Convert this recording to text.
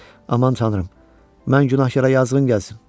Aman tanrım, mən günahkara yazığım gəlsin.